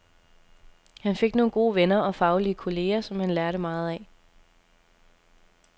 Han fik nogle gode venner og faglige kolleger, som han lærte meget af.